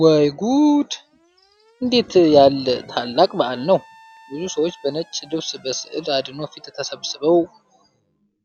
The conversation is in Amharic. ወይ ጉድ! እንዴት ያለ ታላቅ በዓል ነው! ብዙ ሰዎች በነጭ ልብስ በሥዕለ አድኖ ፊት ተሰብስበው፣